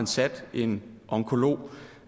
sat en onkolog